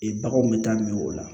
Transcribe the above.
Ee baganw bɛ taa min o la